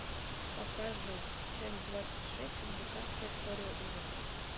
покажи часть двадцать шесть американская история ужасов